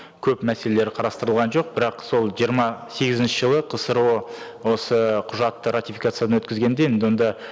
көп мәселелер қарастырылған жоқ бірақ сол жиырма сегізінші жылы қсро осы құжатты ратификациядан өткізгенде енді онда